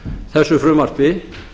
þessu frumvarpi